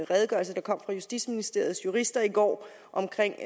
redegørelse der kom fra justitsministeriets jurister i går omkring